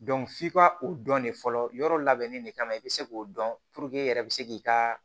f'i ka o dɔn de fɔlɔ yɔrɔ labɛnni de kama i bɛ se k'o dɔn i yɛrɛ bɛ se k'i ka